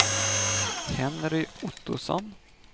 Henry Ottosson